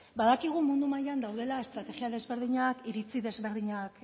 badakigu mundu mailan daudela estrategia desberdinak iritzi desberdinak